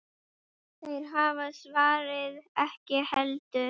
Þeir hafa svarið ekki heldur.